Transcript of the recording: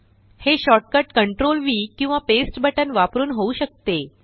हे shortcut CtrlV किंवा paste बटनवापरून होऊ शकते